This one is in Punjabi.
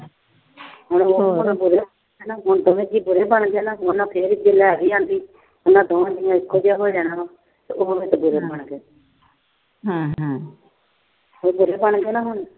ਉਹਨਾਂ ਦੋਹਾਂ ਜੀਆਂ ਬੁਰੇ ਬਣ ਜਾਣਾ ਤੇ ਉਹ ਇੱਕੋ ਜਿਹਾ ਹੋ ਜਾਣਾ। ਉਹ ਦੋਹੇ ਜੀਅ ਇੱਕੋ ਜਿਹੇ ਹੋ ਗਏ ਤੇ ਉਹ ਬੁਰੇ ਬਣ ਗਏ। ਬੁਰੇ ਬਣ ਗਏ ਨਾ ਹੁਣ।